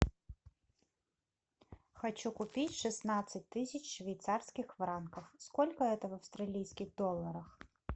хочу купить шестнадцать тысяч швейцарских франков сколько это в австралийских долларах